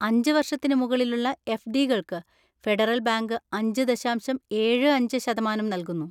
അഞ്ച് വർഷത്തിന് മുകളിലുള്ള എഫ്ഡികൾക്ക് ഫെഡറൽ ബാങ്ക് അഞ്ച് ദശാംശം ഏഴു അഞ്ച് ശതമാനം നൽകുന്നു.